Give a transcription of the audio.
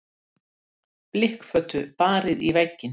Hvaða frelsi það er sem hann hafði aldrei og taldi sig verða að finna.